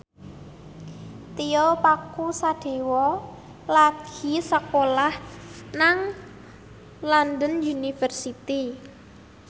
Tio Pakusadewo lagi sekolah nang London University